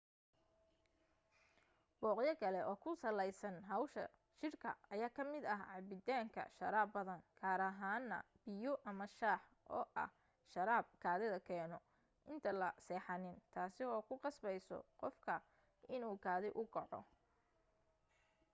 dooqyo kale oo ku salaysan hawsha jirka ayaa ka mid ah cabitaanka sharaab badan gaar ahaan na biyo ama shah oo ah sharaab kaadida keeno inta la seexanin taasi oo ku qasbayso qofka inuu kaadi u kaco